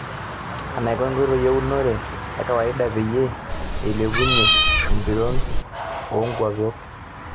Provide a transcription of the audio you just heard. Enaiko nkoitoi eunore ekawaida peyie eilepunyie empiron oo nkulpwok.